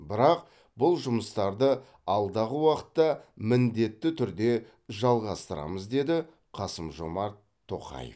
бірақ бұл жұмыстарды алдағы уақытта міндетті түрде жалғастырамыз деді қасым жомарт тоқаев